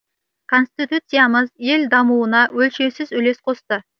конституциямыз ел дамуына өлшеусіз үлес қосты